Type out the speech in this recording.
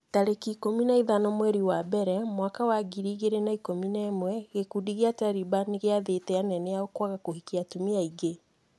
tarĩki ikũmi na ithano mweri wa mbere mwaka wa ngiri igĩrĩ na ikũmi na ĩmwe gĩkundi gĩa Taliban nĩgĩathĩte anene ao kwaga kũhikia atumia aingĩ.